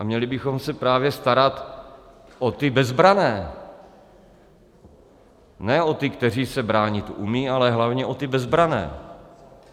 A měli bychom se právě starat o ty bezbranné, ne o ty, kteří se bránit umí, ale hlavně o ty bezbranné.